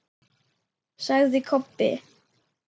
sagði Kobbi.